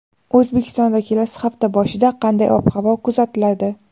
O‘zbekistonda kelasi hafta boshida qanday ob-havo kuzatiladi?.